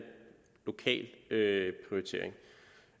det